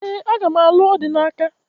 Ee, aga m alụ Odinaka